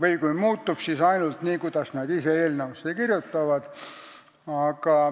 või kui muutub, siis ainult nii, kuidas nad ise eelnõusse kirjutavad.